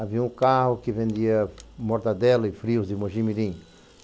Havia um carro que vendia mortadela e frios de Mojimirim.